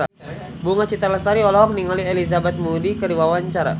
Bunga Citra Lestari olohok ningali Elizabeth Moody keur diwawancara